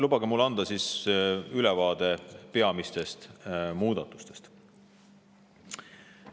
Lubage mul anda ülevaade peamistest muudatustest.